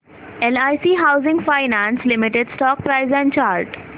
LIC housing finance limited stock price and chart